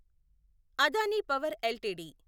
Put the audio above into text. Adani power LTD